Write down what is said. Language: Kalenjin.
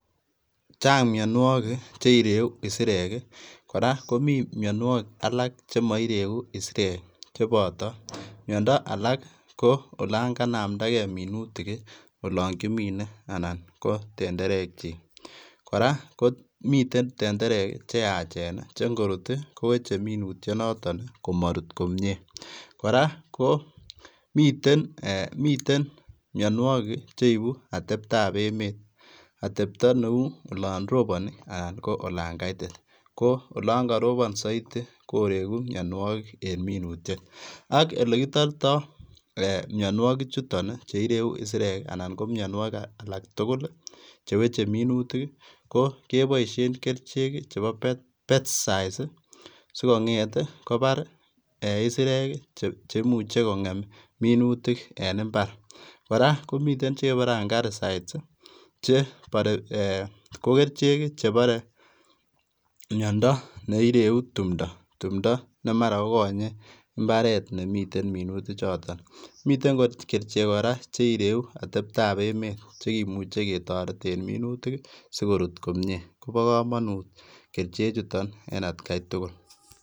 Chaang mianwagik che ireyuu isireek ii kora komii mianwagik alaak chema ireyuu isireek chebotoo miando alaak ko yaan kanamdagei minutik olaan kimine ana ko tenderek kyiik kora ko miten tendereek ii che ingoruut ii kowechei minutiet notoon komaruut komyei kora ko miten mianwagik ii cheibuu ateptap emeet atebtaa ne uu olaan robani anan ko olaan kaitit ko olaan karobaan Zaidi ii koreguu mianwagik en minutiet ak ele kitartai mianwagik chutoon ii che ireyuu isireek ii anan ko mianwagik alaak tugul ii che wechei minutiik ii ko kebaisheen kercheek ii chebo [] pesticides [] ii sikongeet ii kobaar isireek ii cheimuiche kongem minutiik en mbar kora komiteen che kebare [] angaricides [] ii che bare eeh ko kercheek che bare miando ne ireyuu tumdaa ne mara ko konyii mbaret nemiten minutiik chotoon miten kericheek kora che ireyuu ateptap emeet chekimuchei ketareteen minutiik sigoruut komyei kobaa kamanuut kercheek chutoon en at gai tugul.